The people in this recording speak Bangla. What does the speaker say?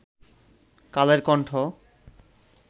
কালের কন্ঠ